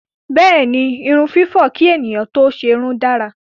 Bẹ́ẹ̀ni, irun fífọ̀ kí ènìyàn tó ṣerun dára.